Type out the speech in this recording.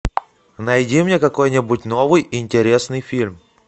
найди мне какой нибудь новый интересный фильм